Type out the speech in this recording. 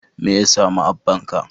Me ya sami abbanka?